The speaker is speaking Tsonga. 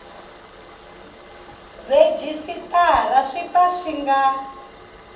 rhejisitara swi pfa swi nga